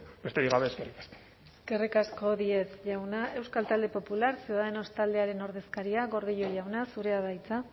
besterik gabe eskerrik asko eskerrik asko díez jauna euskal talde popular ciudadanos taldearen ordezkaria gordillo jauna zurea da hitza